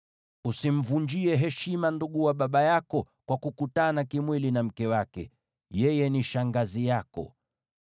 “ ‘Usimvunjie heshima ndugu wa baba yako, kwa kukutana kimwili na mke wake; yeye ni shangazi yako.